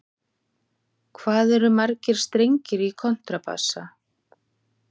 Hvað eru margir strengir í kontrabassa?